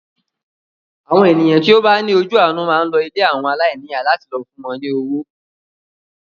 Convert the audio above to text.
Àwọn ènìyàn tí ó bá ní ojú àánú máa ń lọ ilé àwọn aláìníyà láti lọ fún wọn ní owó.